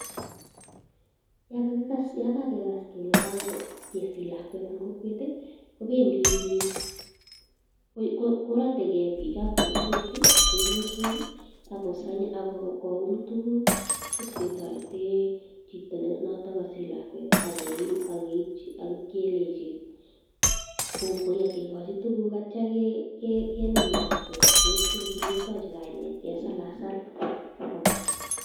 Yaan kakikas kelee kako kesich lakwet en kokwet kobendi biik, korotekee biikab kokwet chebiosok ak koum tukuk iib ketoreten chiton noton kosich lakwet ak keipchi ak keib kelenchi kong'oi ak kikochi tukuk anyun akitio kenaam lakwet ketienchi ketien, ketochi kainet, kesalasal kobwa.